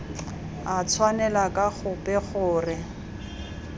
a tshwanela ka gope gore